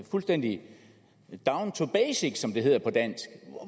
fuldstændig down to basics som det hedder på dansk